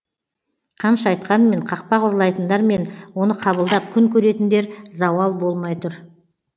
қанша айтқанмен қақпақ ұрлайтындар мен оны қабылдап күн көретіндер зауал болмай тұр